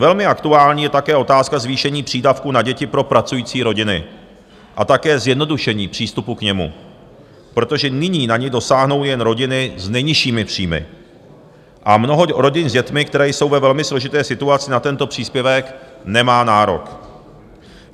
Velmi aktuální je také otázka zvýšení přídavku na děti pro pracující rodiny a také zjednodušení přístupu k němu, protože nyní na ni dosáhnou jen rodiny s nejnižšími příjmy a mnoho rodin s dětmi, které jsou ve velmi složité situaci, na tento příspěvek nemá nárok.